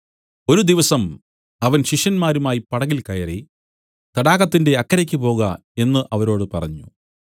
ഒരു ദിവസം അവൻ ശിഷ്യന്മാരുമായി പടകിൽ കയറി നാം തടാകത്തിന്റെ അക്കരെ പോക എന്നു അവരോട് പറഞ്ഞു